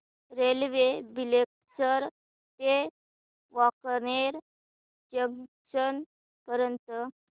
railway Bileshwar ते Wankaner junction पर्यंत